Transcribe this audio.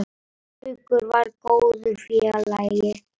Haukur var góður félagi.